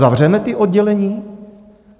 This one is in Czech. Zavřeme ta oddělení?